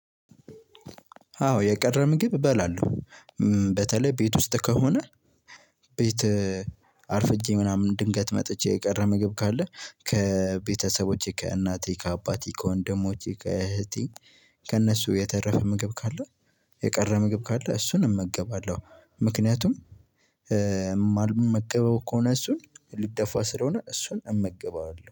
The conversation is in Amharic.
አዎ የቀረ ምግብ እበላለው። በተለይ ቤት ውስጥ ከሆነ። ቤት አርፍጄ ምናምን ድንገት መጥቼ የቀረ ምግብ ካለ ከቤተሰቦቼ ከእናቴ ከአባቴ ከወንድሞቼ ከእህቴ። ከእነሱ የተረፈ ምግብ ካለ። የቀረ ምግብ ካለ እሱን እመገባለሁ። ምክንያቱም የማልመገበው ከሆነ እሱን ሊደፋ ስለሆነ እሱን እመገበዋለው